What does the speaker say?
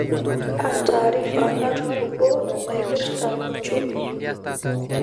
kaa taarifa natupukuo naipirta uchumi